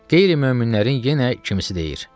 Qeyri-möminlərin yenə kimisi deyir.